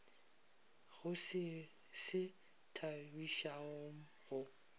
go se se thabišago go